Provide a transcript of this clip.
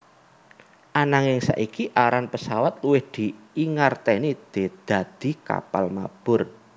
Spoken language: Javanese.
Ananging saiki aran pesawat luwih dingerteni dadi kapal mabur